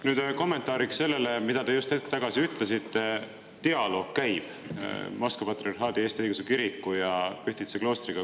Nüüd veel kommentaariks sellele, mida te just hetk tagasi ütlesite: dialoog käib Moskva Patriarhaadi Eesti Õigeusu Kiriku ja Pühtitsa kloostriga.